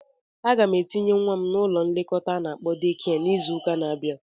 Aga m etinye nwa m n'ụlọ nlekọta a na-akpọ deekia n'izụka n'abia.